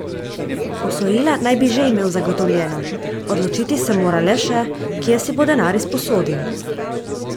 Posojila naj bi že imel zagotovljena, odločiti se mora le še, kje si bo denar izposodil.